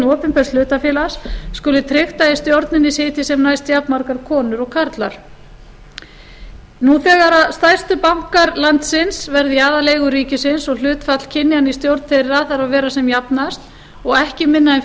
opinbers hlutafélags skuli tryggt að í stjórninni sitji sem næst jafnmargar konur og karlar nú þegar stærstu bankar landsins verða í aðaleigu ríkisins og hlutfall kynjanna í stjórn þeirra þarf að vera sem jafnast og ekki minna en